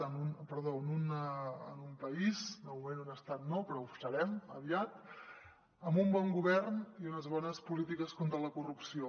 en un en un país de moment un estat no però ho serem aviat amb un bon govern i unes bones polítiques contra la corrupció